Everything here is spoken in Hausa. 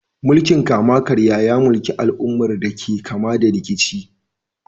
Mulkin kama-karya ya mulki al'ummar da ke fama da rikici.